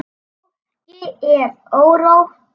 Fólki er órótt.